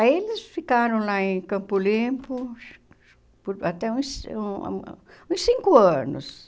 Aí eles ficaram lá em Campo Limpo por até hum uns cinco anos.